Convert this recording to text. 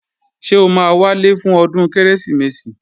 Ṣé o máa wálé fún ọdún Kérésìmesì?